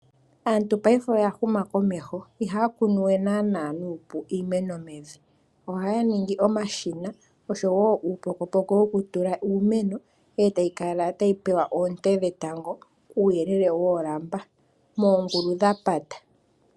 Aantu paife oya huma komeho ihaya kunu we nana iimeno mevi, ohaya ningi omashina osho wo uupokopoko woku tula iimeno, etayi kala tayi pewa oonte dhetango kuuyelele woolamba moongulu dha pata.